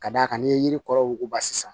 Ka d'a kan n'i ye yiri kɔrɔ wuguba sisan